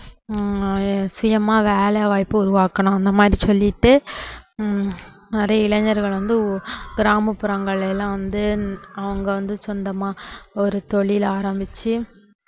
ஹம் சுயமா வேலைவாய்ப்பு உருவாக்கணும் அந்த மாதிரி சொல்லிட்டு ஹம் நிறைய இளைஞர்கள் வந்து கிராமப்புறங்கள்ல எல்லாம் வந்து அவங்க வந்து சொந்தமா ஒரு தொழில் ஆரம்பிச்சு